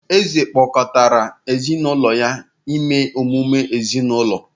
Eze kpọkọtara ezi na ụlọ ya ime emume ezinụlọ